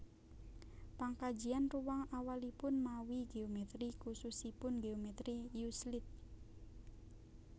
Pangkajian ruwang awalipun mawi géomètri khususipun géomètri euclid